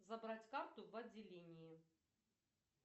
забрать карту в отделении